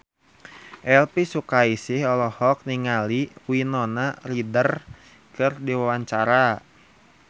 Elvi Sukaesih olohok ningali Winona Ryder keur diwawancara